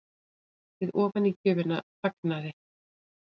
Við ofanígjöfina þagnaði